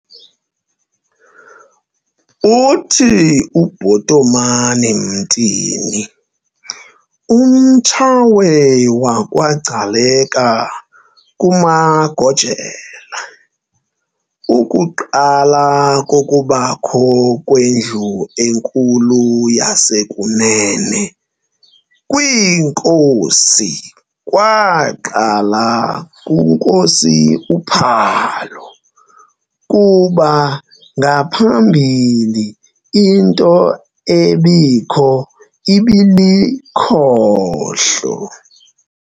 Uthi UBhotomani Mtini, umTshawe wakwaGcaleka kumaGojela, ukuqala kokubakho kweNdlu enkulu neyasekunene kwiinkosi kwaqala kunkosi uPhalo, kuba ngaphambili into ebikho ibilikhohlo.